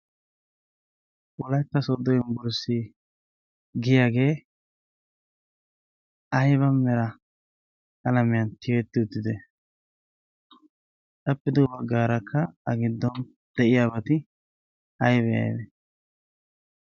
wolatta soddo yinbburssi giyaagee ayba mera alamiyan tiyetti uttite xappido baggaarakka a giddon deyiyaabati aybee?